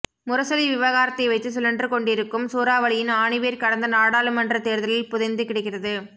முரசொலி விவகாரத்தை வைத்துச் சுழன்று கொண்டிருக்கும் சூறாவளியின் ஆணிவேர் கடந்த நாடாளுமன்றத் தேர்தலில் புதைந்து கிடக்கிறது